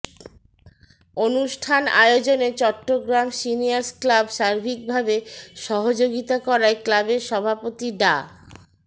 অনুষ্ঠান আয়োজনে Chittagong seniors club সার্বিকভাবে সহযোগিতা করায় ক্লাবের সভাপতি ডা